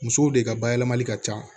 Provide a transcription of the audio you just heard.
Musow de ka bayɛlɛmali ka ca